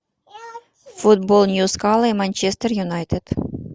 футбол ньюкасл и манчестер юнайтед